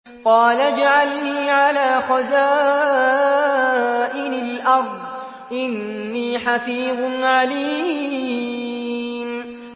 قَالَ اجْعَلْنِي عَلَىٰ خَزَائِنِ الْأَرْضِ ۖ إِنِّي حَفِيظٌ عَلِيمٌ